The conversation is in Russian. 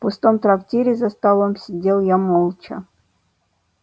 в пустом трактире за столом сидел я молча